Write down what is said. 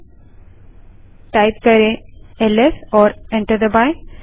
LS type करें और enter दबायें